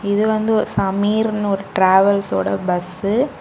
இது வந்து ஒ சமீர்ன்னு ஒரு டிராவல்ஸ்சோட பஸ்ஸு .